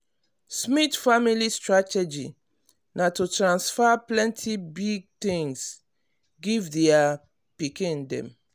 smith family strategy na to transfer plenty big things give their pikin dem.